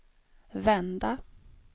vända